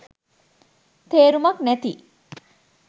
තේරුමක් නැති